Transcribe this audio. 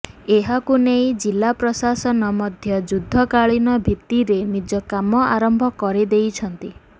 ଏହାକୁ ନେଇ ଜିଲ୍ଲା ପ୍ରଶାସନ ମଧ୍ୟ ଯୁଦ୍ଧକାଳୀନ ଭିତ୍ତିରେ ନିଜ କାମ ଆରମ୍ଭ କରି ଦେଇଛନ୍ତି